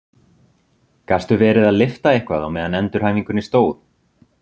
Gastu verið að lyfta eitthvað á meðan á endurhæfingunni stóð?